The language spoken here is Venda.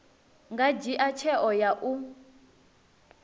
nga dzhia tsheo ya u